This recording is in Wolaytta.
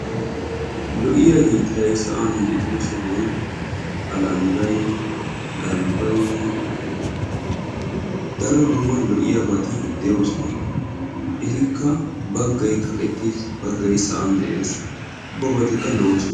lo"iya sohuwan galbay bagay kaqettidage qassi bagay sa"anni miccetidage beetessi.